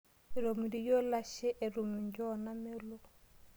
Etomitikio ilashe etum injoo naamelok.